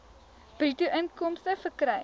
bruto inkomste verkry